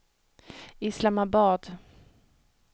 Islamabad